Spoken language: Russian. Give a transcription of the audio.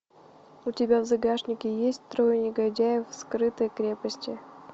у тебя в загашнике есть трое негодяев в скрытой крепости